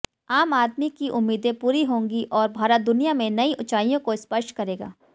आम आदमी की उम्मीदें पूरी होंगी और भारत दुनिया में नयी ऊंचाइयों को स्पर्श करेगा